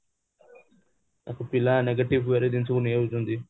ତାକୁ ପିଲା negative way ରେ ଜିନିଷ ଟାକୁ ନେଇଯାଉଛନ୍ତି